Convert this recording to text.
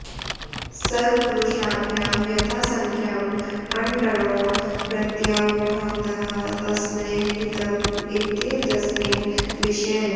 सर्वपुरुषाभ्यां यथासङ्ख्यं णडञौ प्रत्ययौ भवतः तस्मै हितम् इत्येतस्मिन् विषये